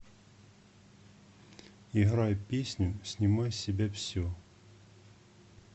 играй песню снимай с себя все